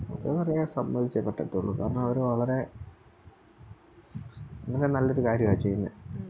അവരെ സമ്മയിച്ചേ പറ്റത്തൊള്ളൂ കാരണം അവര് വളരെ വളരെ നല്ലൊരു കാര്യവാ ചെയ്യുന്നേ